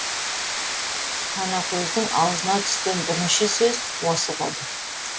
танакөздің аузына түскен бірінші сөз осы болды